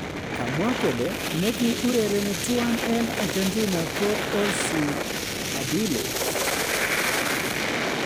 Kamwa kole ne gi urereni tuan en Argentina ko Ossie Ardiles